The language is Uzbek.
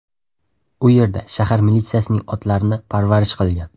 U yerda shahar militsiyasining otlarini parvarish qilgan.